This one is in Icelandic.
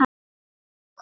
Svo kom það.